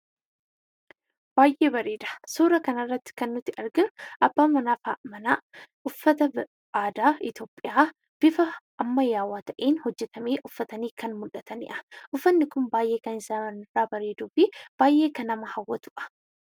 Baay'ee bareeda. Suuraa kanarratti kan nuti argaa jirru abbaa manaa fi haadha manaa uffata aadaa Itoophiyaa bifa ammayyaawaa ta'een hojjetame uffatanii kan mul'atanii dha. Uffanni kun baay'ee kan sararri isaa bareeduu fi baay'ee kan nama hawwatuu dha.